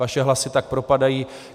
Vaše hlasy tak propadají.